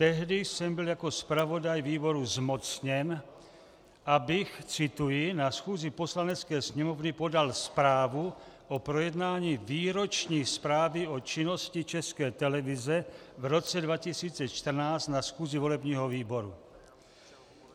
Tehdy jsem byl jako zpravodaj výboru zmocněn, abych - cituji: "na schůzi Poslanecké sněmovny podal zprávu o projednání Výroční zprávy o činnosti České televize v roce 2014 na schůzi volebního výboru."